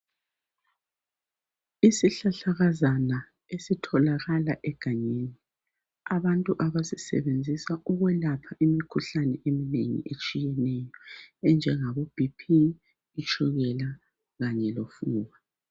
Isihlahlakazana esitholakala egangeni. Abantu basisebenzisa ukwelapha imikhuhlane eminengi etshiyeneyo enjengabo "BP",itshukela kanye lofuba